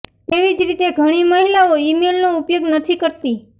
તેવી જ રીતે ઘણી મહિલાઓ ઇમેઇલનો ઉપયોગ નથી કરતી